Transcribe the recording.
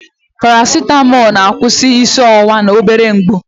Parasitamọl na-akwụsị isi ọwụwa na obere mgbu.